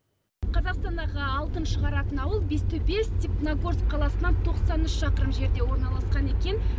қазақстандағы алтын шығаратын ауыл бестөбе степногорск қаласынан тоқсан үш шақырым жерде орналасқан екен